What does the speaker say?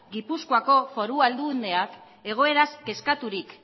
gipuzkoako foru aldundiak egoeraz kezkaturik